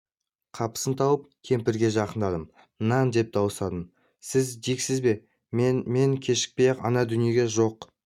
қапысын тауып кемпірге жақындадым нан деп дауыстадым сіз диксіз бе мен мен кешікпей-ақ ана дүниеге жоқ